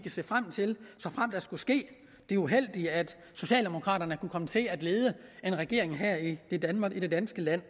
se frem til såfremt der skulle ske det uheldige at socialdemokraterne kom til at lede en regering her i i danmark i det danske land